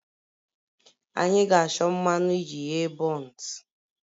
Anyị ga-achọ mmanụ iji ghee buns